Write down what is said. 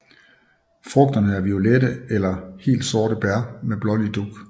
Frugterne er violette eller helt sorte bær med blålig dug